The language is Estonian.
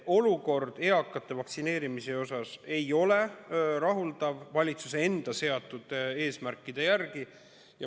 Olukord eakate vaktsineerimise osas ei ole rahuldav võrreldes sellega, mis valitsus eesmärgiks on seadnud.